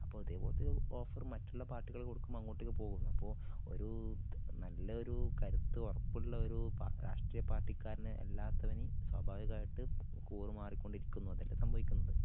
അപ്പോ ഇതേ പോലത്തെ ഓഫറ് മറ്റുള്ള പാർട്ടികൾ കൊടുക്കുമ്പോ അങ്ങോട്ടേക്ക് പോകുന്നു അപ്പോ ഒരു നല്ല ഒരു കരുത്ത് ഉറപ്പുള്ള ഒരു പ രാഷ്ട്രീയ പാർട്ടികാരന് അല്ലാത്തവന് സ്വാഭാവികമായിട്ടും കൂറുമാറി കൊണ്ടിരിക്കുന്നു അതല്ലേ സംഭവിക്കുന്നത്?